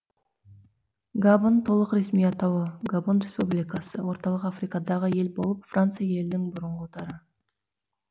габон толық ресми атауы габон республикасы орталық африкадағы ел болып франция елінің бұрынғы отары